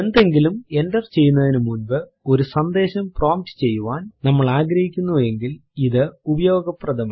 എന്തെങ്കിലും എന്റർ ചെയ്യുന്നതിന് മുൻപ് ഒരു സന്ദേശം പ്രോംപ്റ്റ് ചെയ്യാൻ നമ്മൾ ആഗ്രഹിക്കുന്നു എങ്കിൽ ഇത് ഉപയോഗപ്രദമാണ്